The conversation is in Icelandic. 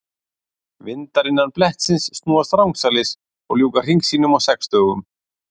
Vindar innan blettsins snúast rangsælis og ljúka hring sínum á sex dögum.